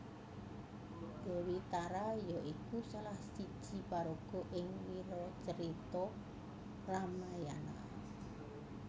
Déwi Tara ya iku salah siji paraga ing wiracarita Ramayana